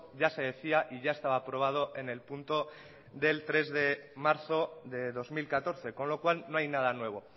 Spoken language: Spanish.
ya se decía y ya estaba aprobado el tres de marzo del dos mil catorce con lo cual no hay nada nuevo